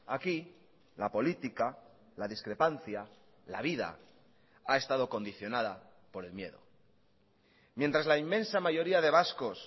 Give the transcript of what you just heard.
aquí la política la discrepancia la vida ha estado condicionada por el miedo mientras la inmensa mayoría de vascos